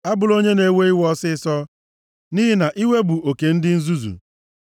Abụla onye na-ewe iwe ọsịịsọ, nʼihi na iwe bụ oke ndị nzuzu.